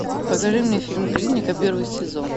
покажи мне фильм клиника первый сезон